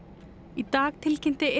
í dag tilkynnti